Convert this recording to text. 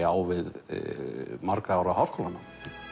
á við margra ára háskólanám